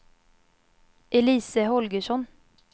Elise Holgersson